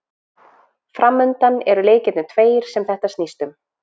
Framundan eru leikirnir tveir sem þetta snýst um.